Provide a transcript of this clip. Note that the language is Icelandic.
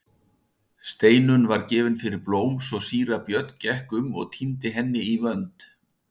Steinunn var gefin fyrir blóm svo síra Björn gekk um og tíndi henni í vönd.